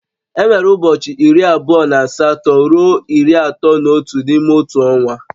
Enwere ụbọchị iri abụọ na asatọ ruo iri atọ na otu n'ime otu ọnwa